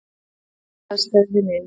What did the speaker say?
Það eru fjölskylduaðstæður hjá mér.